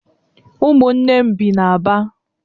Ụmụnne m bi n'Aba